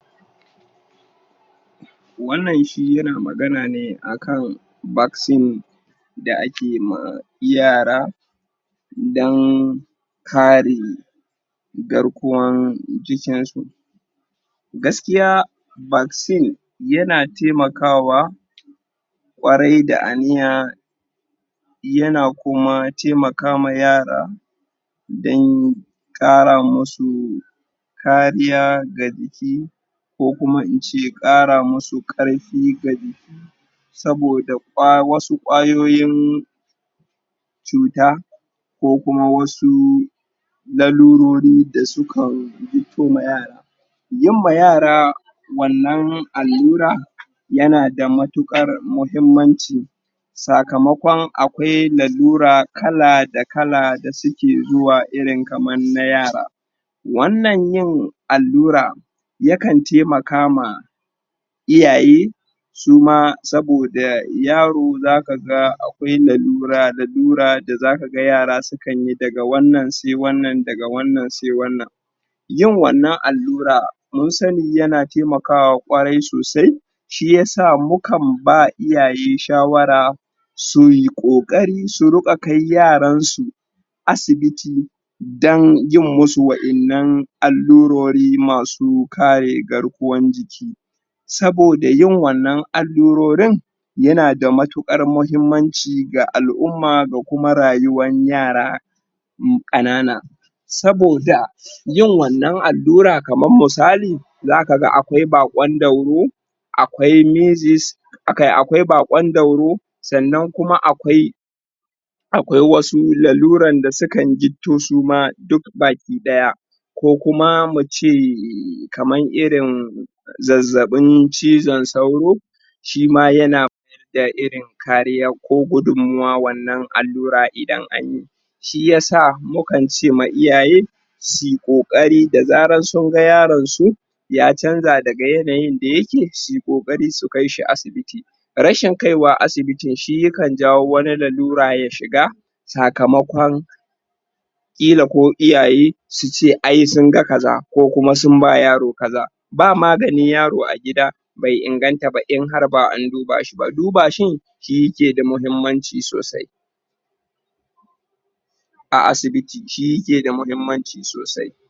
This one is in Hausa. wannan shi yana magana ne akan vaccine da ake ma yara dan kare garkuwan jikin su gaskiya vaccine yana taimakawa kwarai da a niya yana kuma taimaka ma yara dan kara musu kariya ga jiki ko kuma in ce musu kara karfi ga jiki soboda wasu kwayoyin cuta ko kuma wasu lalurori da su kan fito ma yara yi ma yara wannan alura ya na da matukar muhimmanci sakamakon akwai lalura kala da kala da suke zuwa irin kamar na yara wannan yin alura yakan taimakama iyaye, su ma saboda yaro za ka ga lalura, lalura da za ka ga yara su kan yi daga wannan sai wannan daga wannan sai wannan yin wannan alura mun sani yana taimakawa sosai shi ya sa mu kan ba iyaye shawara su yi kokari su rin ka kai yaran su asibiti dan yi n musu wayannan alurori masu kare garkuwan jiki soboda yin wannan alurorin yana da matukar mahimmanci ga al'uma da kuma rayuwan yara kanana soboda yin wannan alura kaman misali za ka ga akwai bakon dauro, akwai measles akwai bakondauro sannan kuma akwai akwai wasu lalura da su kan jifto su ma duk gabakidaya ko kuma mace kamari rin zazzabin cizon sauro shi ma yana? irin kariya ko gudunmuwan wannan alura idan an yi shi ya sa mu kan ce ma iyaye su yi kokari da zara sun ga yaron su ya canza daga yanayin da yake su yi kokari su kai shi asibitti rashin kaiwa asibiti shi ya kan jawowani lalura ya shiga sakamakon kila ko iyaye su ce ai sun ga kaza ko kuma sun ba yaro kaza ba magani yaro a gida bai inganta ba inharba anduba shi ba duba shi shi yake da muhimmanci sosai a asibiti shi yake da muhimmanci sosai